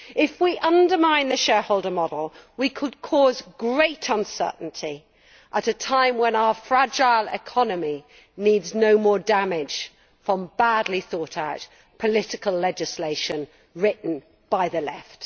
If we undermine the shareholder model, we could cause great uncertainty at a time when our fragile economy needs no more damage from badly thought out political legislation written by the Left.